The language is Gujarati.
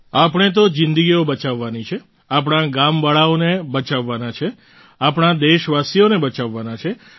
આપણે તો જિંદગીઓ બચાવવાની છે આપણા ગામવાળાઓને બચાવવાના છે આપણા દેશવાસીઓને બચાવવાના છે